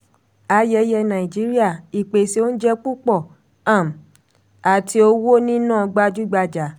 ayẹyẹ nàìjíríà: ìpèsè oúnjẹ púpọ̀ um àti owó níná gbajúgbajà.